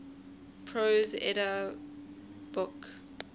prose edda book